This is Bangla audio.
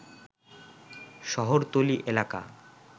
শহরতলী এলাকা